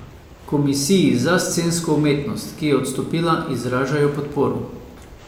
Komisiji za scensko umetnost, ki je odstopila, izražajo podporo.